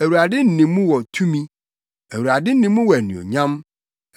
Awurade nne mu wɔ tumi; Awurade nne mu wɔ anuonyam.